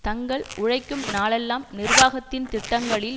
தங்கள் உழைக்கும் நாளெல்லாம் நிர்வாகத்தின் திட்டங்களில்